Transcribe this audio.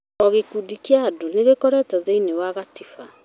O gĩkundi kĩa andũ nĩkĩroretwo thĩiniĩ wa katiba